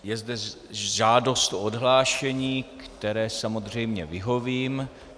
Je zde žádost o odhlášení, které samozřejmě vyhovím.